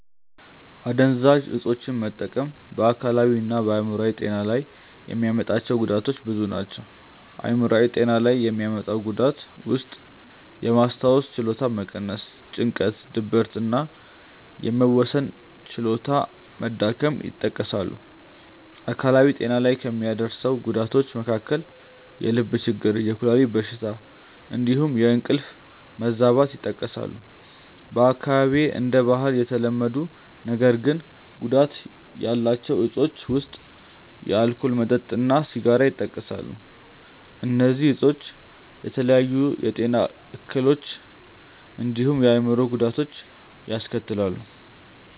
አደንዛዥ እፆችን መጠቀም በ አካላዊ እና በ አይምሮአዊ ጤና ላይ የሚያመጣቸው ጉዳቶች ብዙ ናቸው። አይምሯዊ ጤና ላይ የሚያመጡት ጉዳት ውስጥየማስታወስ ችሎታን መቀነስ፣ ጭንቀት፣ ድብርት እና የመወሰን ችሎታ መዳከም ይጠቀሳሉ። አካላዊ ጤና ላይ ከሚያደርሰው ጉዳቶች መካከል የልብ ችግር፣ የኩላሊት በሽታ እንዲሁም የእንቅልፍ መዛባት ይጠቀሳሉ። በአካባቢዬ እንደ ባህል የተለመዱ ነገር ግን ጉዳት ያላቸው እፆች ውስጥ የአልኮል መጠጥ እና ሲጋራ ይጠቀሳሉ። እነዚህ እፆች የተለያዩ የጤና እክሎችን እንዲሁም የአእምሮ ጉዳቶችን ያስከትላሉ።